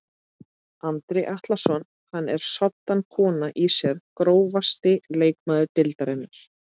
Andri Atlason hann er soddan kona í sér Grófasti leikmaður deildarinnar?